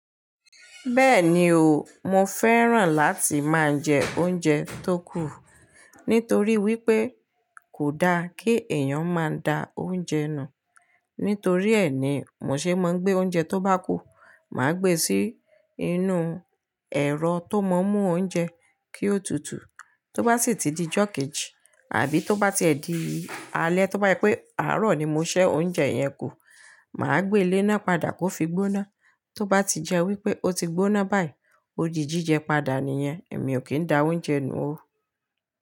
Bẹ́ẹ̀ni o, mo fẹ́ràn láti máa ń jẹ oúnjẹ tó kù. Nítorí wípé kò da kí èèyàn máa da oúnjẹ nù. Nítorí ẹ ni, mo ṣe máa ń gbé oúnjẹ tó bá kù, mà á gbe sí inú ẹ̀rọ tó mọ mú oúnjẹ kí ó tutù. Tó bá sì ti di jọ̀kẹ́ji àbí tó bá ti ẹ di alẹ́, tó bá yẹ pé àárọ̀ ni mo ṣẹ́ oúnjẹ yẹn kù, mà á gbé ilé náà padà kó fi gbóná. Tó bá ti jẹ́ wípé ó ti gbóná báyìí, ó di jíjẹ padà nìyẹn, èmi ò kí ń da oúnjẹ nù ó.